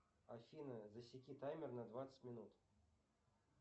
афина засеки таймер на двадцать минут